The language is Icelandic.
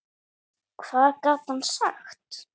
Hvað gat hann sagt?